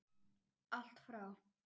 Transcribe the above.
Allt frá